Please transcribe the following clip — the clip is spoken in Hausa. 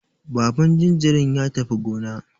Baban jinjirin ya tafi gona.